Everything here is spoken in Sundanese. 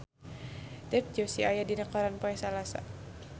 Dev Joshi aya dina koran poe Salasa